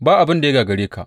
Ba abin da ya gagare ka.